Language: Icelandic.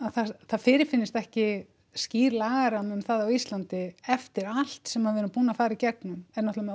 það fyrirfinnist ekki skýr lagarammi um það á Íslandi eftir allt sem við erum búin að fara í gegnum er náttúrulega